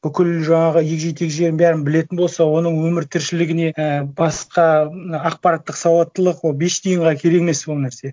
бүкіл жаңағы егжей тегжейін бәрін білетін болса оның өмір тіршілігіне і басқа ақпараттық сауаттылық ол бес тиынға керек емес ол нәрсе